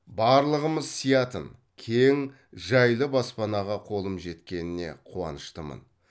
барлығымыз сиятын кең жайлы баспанаға қолым жеткеніне қуаныштымын